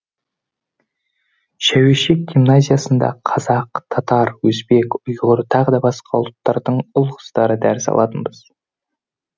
шәуешек гимназиясында қазақ татар өзбек ұйғыр тағы да басқа ұлттардың ұл қыздары дәріс алатынбыз